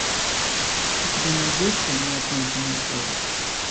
у тебя найдется неоконченная повесть